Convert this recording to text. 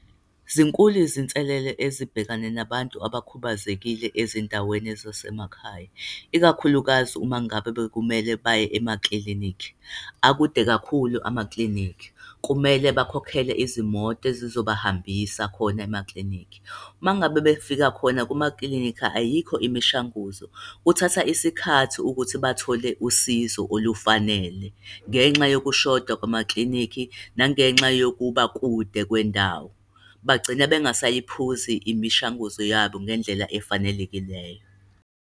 Zinkulu izinselelo ezibhekana nabantu abakhubazekile ezindaweni zasemakhaya, ikakhulukazi uma ngabe bekumele baye emaklinikhi. Akude kakhulu amaklinikhi. Kumele bakhokhele izimoto ezizobahambisa khona emaklinikhi. Mangabe befika khona kumaklinikhi, ayikho imishanguzo. Kuthatha isikhathi ukuthi bathole usizo olufanele, ngenxa yokushoda kwamaklinikhi nangenxa yokuba kude kwendawo. Bagcina bengasayiphuzi imishanguzo yabo ngendlela efanelekileyo.